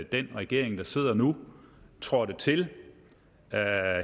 den regering der sidder nu trådte til her